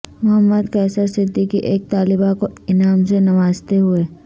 محمد قیصر صدیقی ایک طالبہ کو انعام سے نوازتے ہوئے